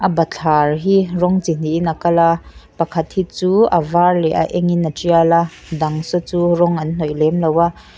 bathlar hi rawng chi hnihin a kal a pakhat hi chu a var leh a engin a tial a a dang saw chu rawng an hnawih lem lo a.